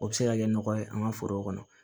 O bɛ se ka kɛ nɔgɔ ye an ka foro kɔnɔ